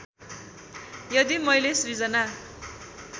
यदि मैले सृजना